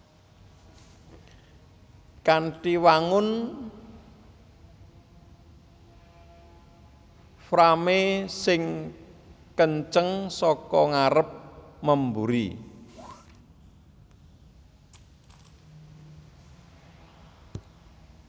Kanthi wangun frame sing kenceng saka ngarep memburi